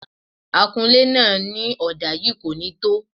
Akunlé náà ní ọ̀dà yìí kò ní tó